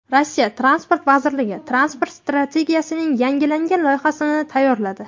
Rossiya Transport vazirligi transport strategiyasining yangilangan loyihasini tayyorladi.